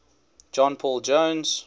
john paul jones